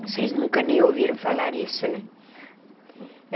Vocês nunca nem ouviram falar isso, né?